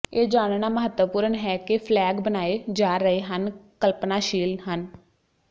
ਇਹ ਜਾਣਨਾ ਮਹੱਤਵਪੂਰਨ ਹੈ ਕਿ ਫਲੈਗ ਬਣਾਏ ਜਾ ਰਹੇ ਹਨ ਕਲਪਨਾਸ਼ੀਲ ਹਨ